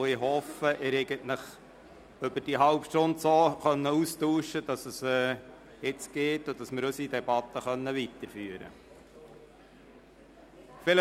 Ich hoffe, Sie konnten sich in dieser halben Stunde austauschen, sodass wir unsere Debatte jetzt weiterführen können.